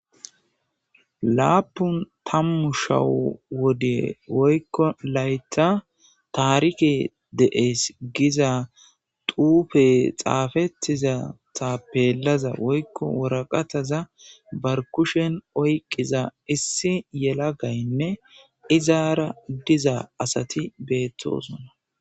Laapun tammu shawu wode woykko layta taarike de'ees giza xuufe xaafettiza tapeellaza woykko woraqataza baa kushen oyqqiza issi yelagaynne izaara diza asati beettosona